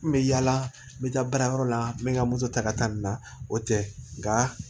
N bɛ yaala n bɛ taa baarayɔrɔ la n bɛ n ka moto ta ka taa nin na o tɛ nka